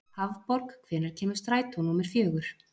Hafborg, hvenær kemur strætó númer fjögur?